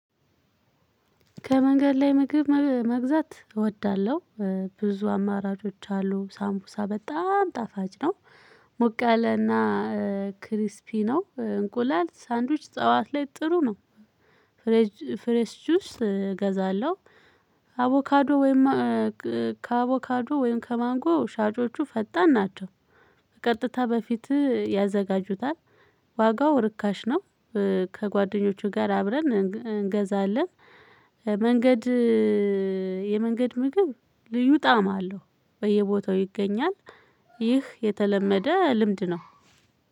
ከመንገድ ላይ ምግብ መግዛት እወዳለሁ። ብዙ አማራጮች አሉ ሳምቡሳ በጣም ጣፋጭ ነው። ሞቃለና። ክሪስፒ ነው እንቁላል ሳንድዊች ጠዋት ላይ ጥሩ ነው። ፍሬሽ ፍሬሽ ጁስ እገዛለሁ። አቮካዶ ወይም ከአቮካዶ ወይም ከማንጎ ሻጮቹ ፈጣን ናቸው። ቀጥታ በፊት ያዘጋጁታል። ዋጋው ርካሽ ነው። ከጓደኞቹ ጋር አብረን እንገዛለን። መንገድ የመንገድ ምግብ ልዩ ጣዕም አለው። በየቦታው ይገኛል። ይህ የተለመደ ልምድ ነው።